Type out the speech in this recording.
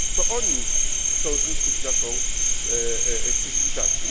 To oni chcą zniszczyć naszą cywilizację.